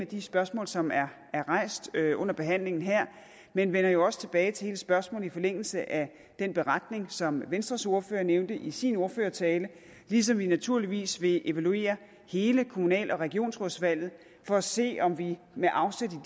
de spørgsmål som er er rejst under behandlingen her men vender jo også tilbage til hele spørgsmålet i forlængelse af den beretning som venstres ordfører nævnte i sin ordførertale ligesom vi naturligvis vil evaluere hele kommunal og regionsrådsvalget for at se om vi med afsæt